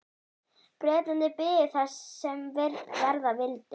Bretarnir biðu þess sem verða vildi.